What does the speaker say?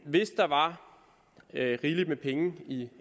hvis der var rigeligt med penge i